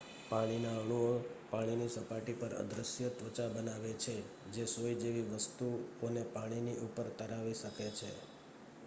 પાણીના અણુઓ પાણીની સપાટી પર અદૃશ્ય ત્વચા બનાવે છે જે સોય જેવી વસ્તુઓને પાણીની ઉપર તરાવી શકે છે